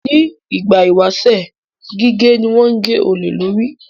Ní ìgbà ìwáṣẹ̀, gígé ni wọ́n ń gé olè lórí